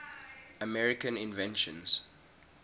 american inventions